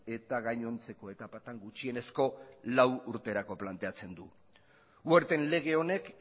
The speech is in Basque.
eta gainontzeko etapatan gutxienezko lau urterako planteatzen du werten lege honek